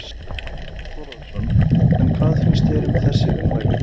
Þorbjörn Þórðarson: En hvað finnst þér um þessi ummæli?